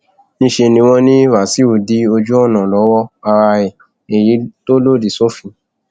níṣẹ ni wọn ní wàsíù dí ojú ọnà lọwọ ara ẹ èyí tó lòdì sófin